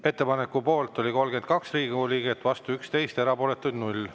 Ettepaneku poolt oli 32 Riigikogu liiget, vastu 11, erapooletuid 0.